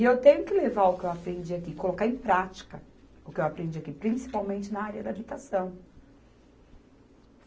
E eu tenho que levar o que eu aprendi aqui, colocar em prática o que eu aprendi aqui, principalmente na área da habitação.